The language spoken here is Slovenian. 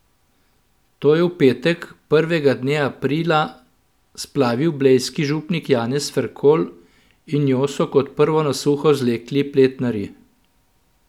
To je v petek, prvega dne aprila, splavil blejski župnik Janez Ferkolj in njo so kot prvo na suho zvlekli pletnarji.